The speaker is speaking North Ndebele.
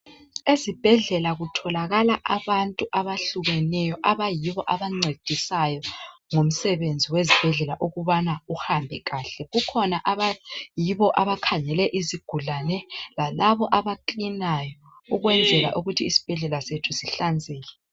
Ezibhedlela kutholakala abantu abehlukeneyo abayibo abancedisayo ngomsebenzi wezibhedlela ukubana uhambe kahle. Kukhona abayibobo abakhangele izigulane lalaba amaklinayo ukwenzela ukuthi isibhedlela sethu sihlanzeke.